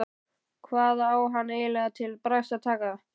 Hvað á hann eiginlega til bragðs að taka?